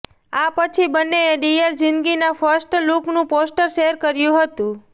આ પછી બંનેએ ડિયર ઝિંદગીના ફર્સ્ટ લૂકનું પોસ્ટર શેર કર્યુ હતું